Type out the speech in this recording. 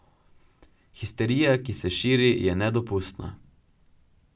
Histerija, ki se širi, je nedopustna.